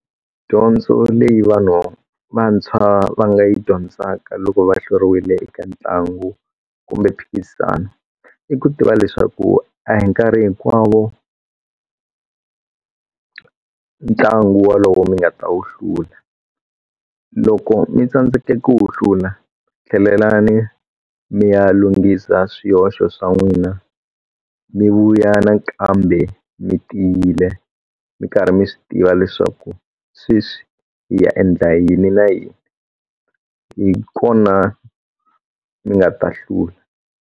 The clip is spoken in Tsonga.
Dyondzo leyi vanhu vantshwa va nga yi dyondzaka loko va hluriwile eka ntlangu kumbe mphikizano i ku tiva leswaku a hi nkarhi hinkwawo ntlangu wa lowo mi nga ta wu hlula loko mi tsandzeke ku wu hlula tlhelelani mi ya lunghisa swihoxo swan'wina mi vuya nakambe mi tiyile mi karhi mi swi tiva leswaku sweswi hi ya endla yini na yini hi kona mi nga ta hlula.